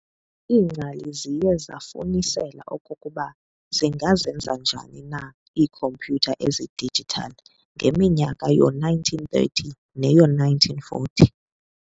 Iingcali ziye zafunisela okokuba zingazenza njani na iikhomputha ezi-digital ngeminyaka yoo-1930 neyoo- 1940.